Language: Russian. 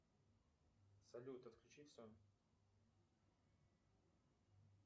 салют отключи все